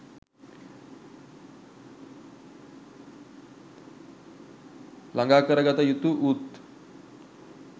ළඟා කරගතයුතු වූත්,